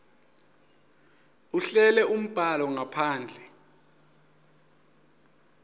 ahlele umbhalo ngaphandle